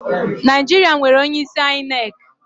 Naijiṛa nwere onye isi ainek